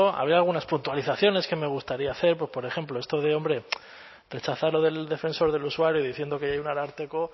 haré algunas puntualizaciones que me gustaría hacer pues por ejemplo esto de hombre rechazar lo del defensor del usuario diciendo que hay un ararteko